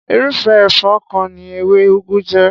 Irúfé èfó kan ni ewé ugu jé.